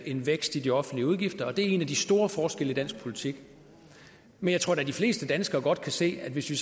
en vækst i de offentlige udgifter og at det er en af de store forskelle i dansk politik men jeg tror da at de fleste danskere godt kan se at hvis vi